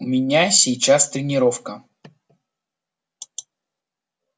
у меня сейчас тренировка